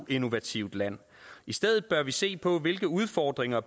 innovativt land i stedet bør vi se på hvilke udfordringer